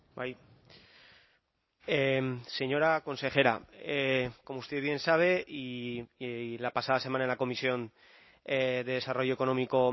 bai señora consejera como usted bien sabe y la pasada semana en la comisión de desarrollo económico